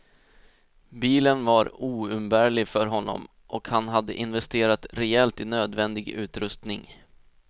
Bilen var oumbärlig för honom och han hade investerat rejält i nödvändig utrustning.